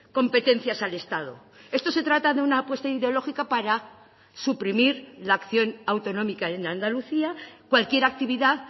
competencias al estado esto se trata de una apuesta ideológica para suprimir la acción autonómica en andalucía cualquier actividad